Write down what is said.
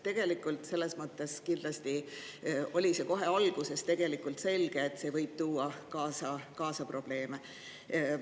Nii et tegelikult oli kohe alguses selge, et see võib probleeme kaasa tuua.